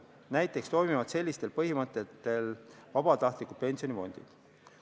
Näiteks toimivad sellistel põhimõtetel vabatahtlikud pensionifondid.